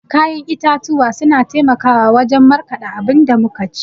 ya'yan itatuwa suna taimakawa wajan markada abinda muka ci